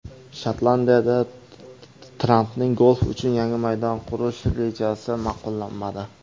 Shotlandiyada Trampning golf uchun yangi maydon qurish rejasi ma’qullanmadi.